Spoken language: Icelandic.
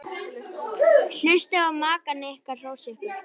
Njótið þess að hlusta á maka ykkar hrósa ykkur.